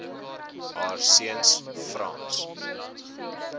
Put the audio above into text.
haar seuns frans